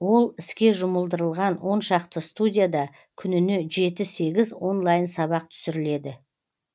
ол іске жұмылдырылған он шақты студияда күніне жеті сегіз онлайн сабақ түсіріледі